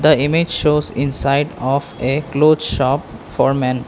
the image shows inside of a cloth shop for men.